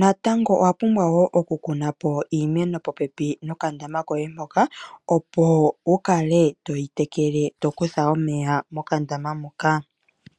natango owa pumbwa okukuna po iimeno popepi nokandama koye hoka opo wukale toyi tekele to kutha omeya mokandama moka.